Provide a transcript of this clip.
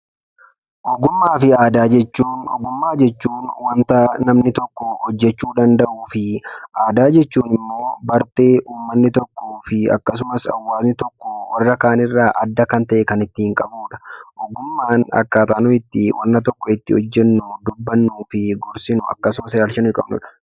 Ogummaa fi aadaa jechuun wanta namni tokko hojjeechu danda'uu fi aadaa jechuunimmo bartee uummanni tokkofi akkasumas, hawaasni tokko warra kaanirra adda kan ta'e kan ittin qabudha. ogummaan akkataa nuyi itti wanta tokko itti hojjeennu, dubbannu fi gorsinu akkasuma, ilaalcha nuyi qabnudha.